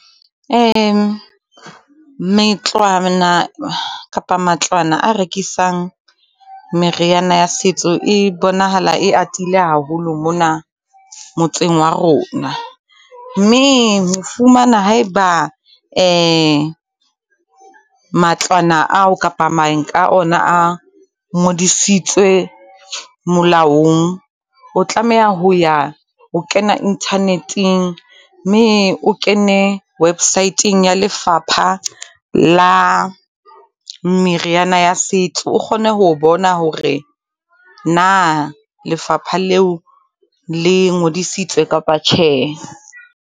metlwana kapa matlwana a rekisang meriana ya setso e bonahala e atile haholo mona, motseng wa rona. Mme ho fumana haeba matlwana ao kapa mang ka ona a ngodisitswe molaong, o tlameha ho ya, o kena internet-eng mme o kene website-eng ya lefapha la, meriana ya setso. O kgone ho bona hore na lefapha leo le ngodisitswe kapa tjhe.